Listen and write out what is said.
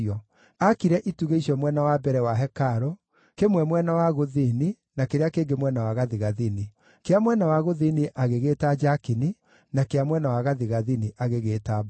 Aakire itugĩ icio mwena wa mbere wa hekarũ, kĩmwe mwena wa gũthini, na kĩrĩa kĩngĩ mwena wa gathigathini. Kĩa mwena wa gũthini agĩgĩĩta Jakini, na kĩa mwena wa gathigathini agĩgĩĩta Boazu.